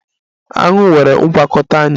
Aṅu nwere ngwakọta anya